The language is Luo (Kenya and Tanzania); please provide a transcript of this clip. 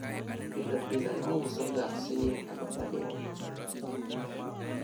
kila siku alikuwa akiuza shilingi elfu tatu